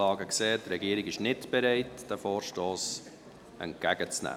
Die Regierung ist nicht bereit, diesen Vorstoss entgegenzunehmen.